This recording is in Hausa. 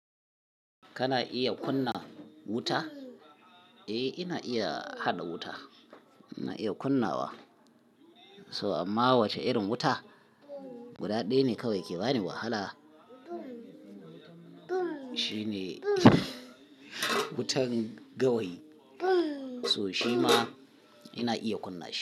Kana iya kunna wuta? Eh, ina iya haɗa wuta. Ina iya kunnawa. So amma wace irin wuta? Guda ɗaya ne kawai ke bani wahala. Shi ne wutan gawayi. So shi ma ina iya kunna shi.